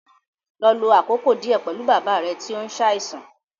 Lọ lo àkókò díẹ̀ pẹ̀lú bàbá rẹ tí ó ń ṣàìsàn